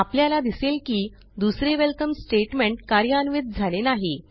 आपल्याला दिसेल की दुसरे वेलकम स्टेटमेंट कार्यान्वित झाले नाही